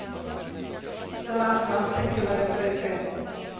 Väčšina neprenosných chorôb súvisí s tým, ako žijeme.